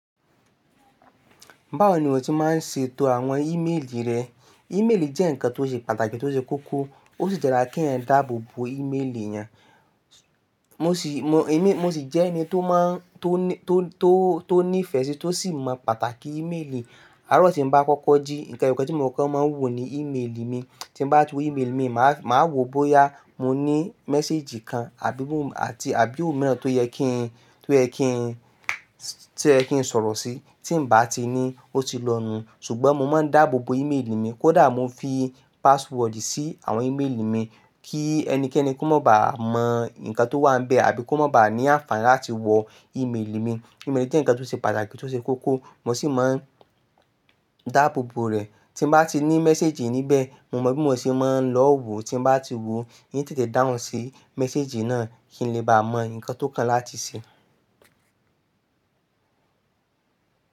Báwo ni ìwọ ṣe máa ń ṣe ètò àwọn ímeèlì rẹ? Ímeèlì jẹ́ ǹkan tó ṣe pàtàkì, tó ṣe kókó, ó sì dára kí èèyàn dáàbò bò ímeèlì èyàn. Mo sì jẹ́ ẹni tó má, tó ní ìfẹ́ sí, tó sì mọ pàtàkì ímeèlì. Àárọ̀ tí mo bá kọ́kọ́ jí, ǹkan ẹyọkan tí mo kọ́ máa ń wò ni ímeèlì mi. Tí ń bá ti wo ímeèlì mi, màá wo bóyá mo ní méséjì kan àbí òun mìíràn tó yẹ kí n sọ̀rọ̀ sí. Tí ǹ bá tí ní, ó ti lọ nù. Ṣùgbọ́n mo máa ń dáàbò bò ímeèlì mi. Kódà mo ń fi password sí àwọn ímeèlì mi kí ẹnikẹ́ni kó má bàá mọ ǹkan tó wà níbẹ̀ àbí kó má bàá ní àǹfààní láti wọ ímeèlì mi. Ímeèlì jẹ́ ǹkan tó ṣe pàtàkì, tó ṣe kókó. Mo sì máa ń dá gbogbo rẹ̀. Tí mo bá tí ní méséjì níbẹ̀, mo mọ bí mo ṣe máa ń lọ wò. Tí mo bá ti wò, yí tètè down sí méséjì náà kí n lè bá mọ ǹkan tó kàn láti ṣe.